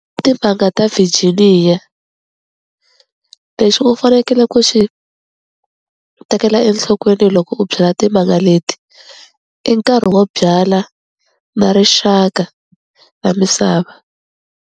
Timanga ta Virginia lexi u fanekele ku xi tekela enhlokweni loko u byala timanga leti i nkarhi wo byala na rixaka ra misava.